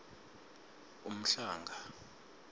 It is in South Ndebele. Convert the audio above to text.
umhlanga